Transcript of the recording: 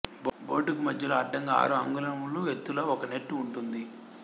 బోర్డుకు మధ్యలో అడ్డంగా ఆరు అంగుళముల ఎత్తుతో ఒక నెట్ ఉంటుంది